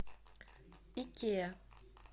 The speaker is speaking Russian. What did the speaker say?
икеа